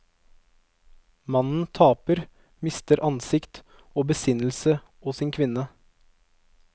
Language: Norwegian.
Mannen taper, mister ansikt og besinnelse og sin kvinne.